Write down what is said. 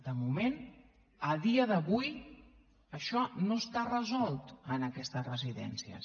de moment a dia d’avui això no està resolt en aquestes residències